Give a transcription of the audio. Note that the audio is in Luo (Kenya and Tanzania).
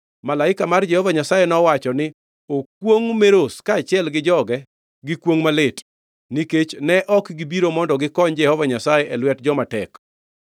Malaika mar Jehova Nyasaye nowacho ni, ‘Okwongʼ Meroz kaachiel gi joge gi kwongʼ malit, nikech ne ok gibiro mondo gikony Jehova Nyasaye e lwet joma tek.’